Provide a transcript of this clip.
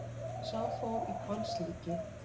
Sá fór í hvalslíki.